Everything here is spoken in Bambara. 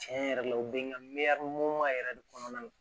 Tiɲɛ yɛrɛ la o bɛ n ka yɛrɛ de kɔnɔna na